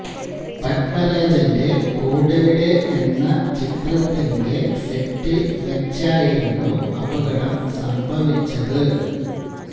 പത്മരാജന്റെ കൂടെവിടെ എന്ന ചിത്രത്തിന്റെ സെറ്റില് വെച്ചായിരുന്നു അപകടം സംഭവിച്ചത്